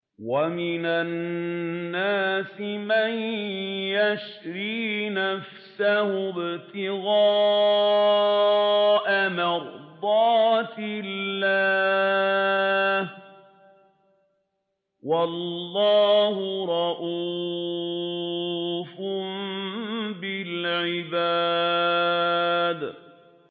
وَمِنَ النَّاسِ مَن يَشْرِي نَفْسَهُ ابْتِغَاءَ مَرْضَاتِ اللَّهِ ۗ وَاللَّهُ رَءُوفٌ بِالْعِبَادِ